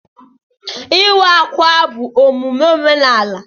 Ịwa ákwà bụ emume omenaala